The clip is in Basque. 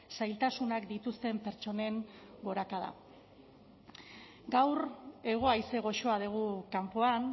zailtasunak dituzten pertsonen gorakada gaur hego haize goxoa dugu kanpoan